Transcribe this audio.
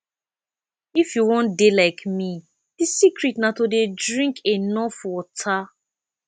if you wan dey like me the secret na to dey drink enough water